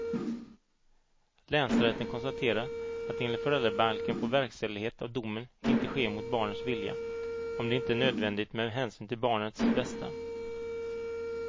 Länsrätten konstaterar att enligt föräldrabalken får verkställighet av domen inte ske mot barnets vilja om det inte är nödvändigt med hänsyn till barnets bästa.